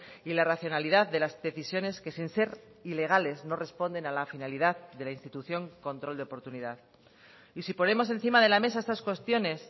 y la racionalidad de las decisiones que sin ser ilegales no responden a la finalidad de la institución control de oportunidad y si ponemos encima de la mesa estas cuestiones